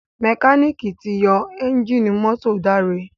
Mẹkáníìkì tí yó Ẹ́ńjìnì mọ́tò Dare.